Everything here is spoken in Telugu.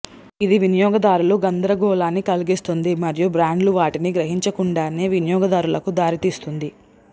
ఇది వినియోగదారుల గందరగోళాన్ని కలిగిస్తుంది మరియు బ్రాండ్లు వాటిని గ్రహించకుండానే వినియోగదారులకు దారి తీస్తుంది